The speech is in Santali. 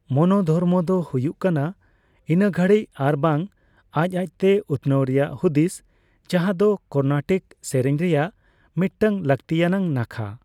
ᱢᱚᱱᱚ ᱫᱷᱚᱨᱢᱚ ᱫᱚ ᱦᱩᱭᱩᱜ ᱠᱟᱱᱟ ᱤᱱᱟᱹᱜᱷᱟᱲᱤᱡᱽ ᱟᱨᱵᱟᱝ ᱟᱡᱽᱼᱟᱡᱽᱛᱮ ᱩᱛᱱᱟᱹᱣ ᱨᱮᱭᱟᱜ ᱦᱩᱫᱤᱥ, ᱡᱟᱦᱟᱸᱫᱚ ᱠᱚᱨᱱᱟᱴᱤᱠ ᱥᱮᱨᱮᱧ ᱨᱮᱭᱟᱜ ᱢᱤᱫᱴᱟᱝ ᱞᱟᱹᱠᱛᱤᱭᱟᱱᱟᱜ ᱱᱟᱠᱷᱟ ᱾